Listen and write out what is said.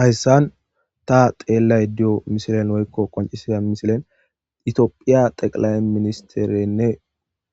hayssan ta xeellay diyo misilen woykko qoncisida misilen itiophiya xeqilay ministerenne